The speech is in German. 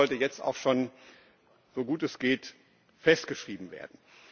Das sollte jetzt auch schon so gut es geht festgeschrieben werden.